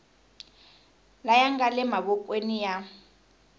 laya nga le mavokweni ya